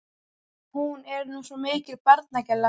Hún er nú svo mikil barnagæla.